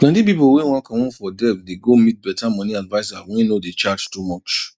plenty pipo wey wan comot for debt dey go meet better money adviser wey no dey charge too much